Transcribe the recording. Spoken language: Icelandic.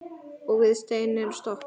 Og við stein er stopp.